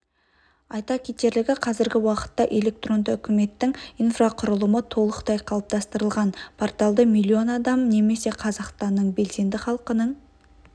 айта кетерлігі қазіргі уақытта электронды үкіметтің инфрақұрылымы толықтай қалыптастырылған порталды млн адам немесе қазақстанның белсенді халқының